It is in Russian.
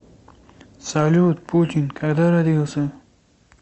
салют путин когда родился